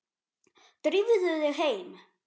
Drífðu þig heim.